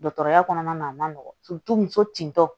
Dɔgɔtɔrɔya kɔnɔna na a man nɔgɔn muso tintɔ